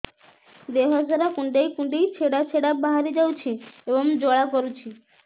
ଦେହ ସାରା କୁଣ୍ଡେଇ କୁଣ୍ଡେଇ ଛେଡ଼ା ଛେଡ଼ା ବାହାରି ଯାଉଛି ଏବଂ ଜ୍ୱାଳା କରୁଛି